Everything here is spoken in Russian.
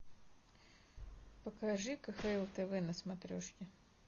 покажи кхл тв на смотрешке